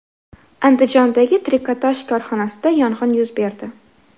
Andijondagi trikotaj korxonasida yong‘in yuz berdi.